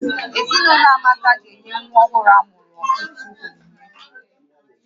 Ezinaụlọ Amaka ga-enye nwa ọhụrụ amụrụ ọtụtụ onyinye